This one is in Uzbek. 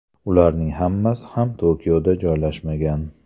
Ularning hammasi ham Tokioda joylashmagan.